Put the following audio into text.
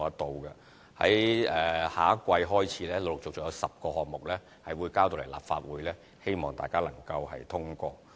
在下一季開始，有10個項目會陸續呈交立法會，希望大家能通過。